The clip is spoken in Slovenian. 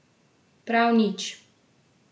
Prav nič!